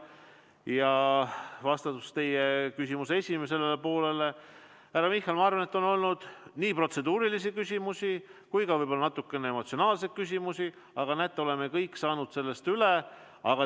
Ja vastuseks teie küsimuse esimesele poolele, härra Michal, ma arvan, on olnud nii protseduurilisi küsimusi kui ka võib-olla natukene emotsionaalsemaid küsimusi, aga näete, oleme kõik saanud sellest üle.